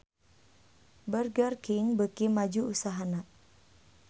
Burger King beuki maju usahana